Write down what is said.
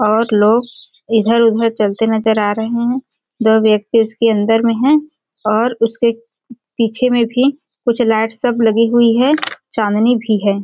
और लोग इधर-उधर चलते नज़र आ रहे है दो व्यक्ति उसके अंदर में है और उसके पीछे में भी कुछ लाइटस सब लगी हुई है चाँदनी भी है।